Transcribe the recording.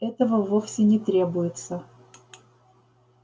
этого вовсе не требуется